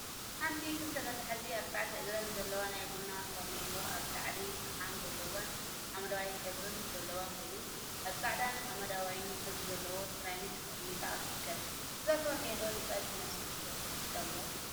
ሓንቲ ክልተ መትሓዚ አርባዕተ እግሪን ዘለዋ ናይ ቡና ፈርኔሎ አብ ላዕላ ፈሓም ዘለዋን ሓመደዋይ ሕብሪን ዘለዋ ኮይና፤ አብ ፃዕዳን ሓመደዋይ ሕብሪ ዘለዎ ሰራሚክ ተቀሚጣ ትርከብ፡፡ እዛ ፈርኔሎ ንፀብሒ መስርሒ ትጠቅም ዶ?